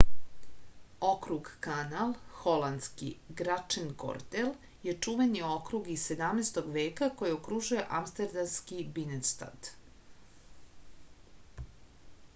округ канал холандски: грачтенгордел је чувени округ из 17. века који окружује амстердамски биненстад